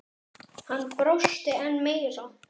Hann brosti enn meira.